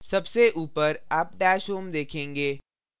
सबसे ऊपर आप dashhome देखेंगे